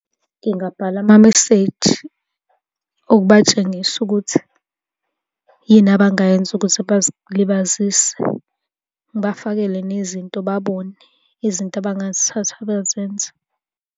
Ngingabhala amameseji okubatshengisa ukuthi yini abangayenza ukuze bazilibazise. Ngibafakele nezinto babone izinto abangazithatha bazenze.